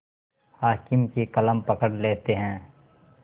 हाकिम की कलम पकड़ लेते हैं